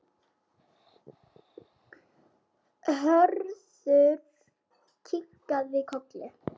Hörður kinkaði kolli.